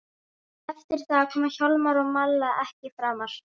Þær finnast líka yngri, segir hún.